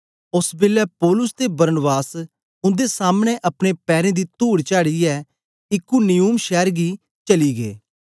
ओस बेलै पौलुस ते बरनाबास उन्दे सामने अपने पैरें दी तुड झाड़ीयै इकुनियुम शैर गी चली गै